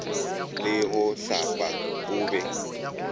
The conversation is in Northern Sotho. le go hlapa o be